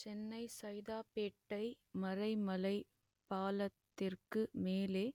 சென்னை சைதாப்பேட்டை மறைமலை பாலத்திற்கு மேலே